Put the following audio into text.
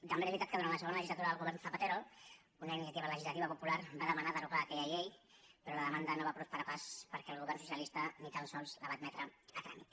també és veritat que durant la segona legislatura del govern zapatero una iniciativa legislativa popular va demanar derogar aquella llei però la demanda no va prosperar pas perquè el govern socialista ni tan sols la va admetre a tràmit